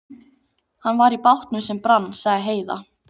Hann var í bátnum sem brann, sagði Heiða.